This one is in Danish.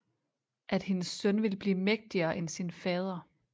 At hendes søn ville blive mægtigere end sin fader